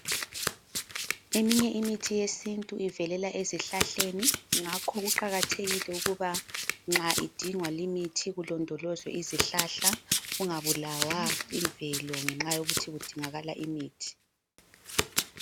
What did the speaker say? Eminye imithi yesintu ivelela ezihlahleni, ngakho kuqakathekile ukuba nxa idingwa limithi kulondolozwe izihlahla, kungabulawa imvelo ngenxa yokuthi kudingakala imithi.